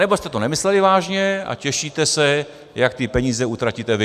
Anebo jste to nemysleli vážně a těšíte se, jak ty peníze utratíte vy.